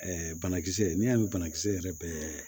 banakisɛ n'i y'a mɛn banakisɛ yɛrɛ bɛɛ